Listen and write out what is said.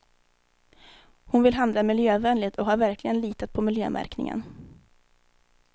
Hon vill handla miljövänligt och har verkligen litat på miljömärkningen.